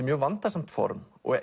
mjög vandasamt form og